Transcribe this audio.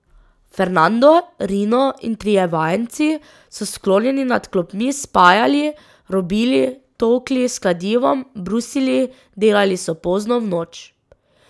Fernando, Rino in trije vajenci so sklonjeni nad klopmi spajali, robili, tolkli s kladivom, brusili, delali so pozno v noč.